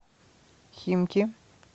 химки